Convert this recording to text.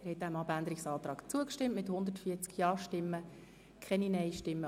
Sie haben den Abänderungsantrag angenommen.